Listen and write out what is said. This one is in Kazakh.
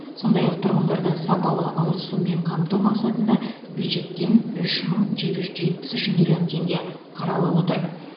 сондай ақ тұрғындарды сапалы ауыз сумен қамту мақсатында бюджеттен үш мың жеті жүз жетпіс үш миллион теңге қаралып отыр